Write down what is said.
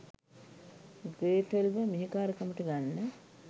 Gretel ව මෙහෙකාරකමට ගන්න